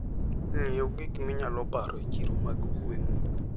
Ng'iew gik minyalo paro e chiro mag gweng'u.